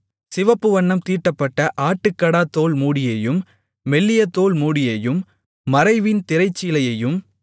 சிவப்பு வண்ணம் தீட்டப்பட்ட ஆட்டுக்கடாத்தோல் மூடியையும் மெல்லிய தோல் மூடியையும் மறைவின் திரைச்சீலையையும்